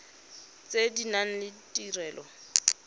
tse di nang le ditirelo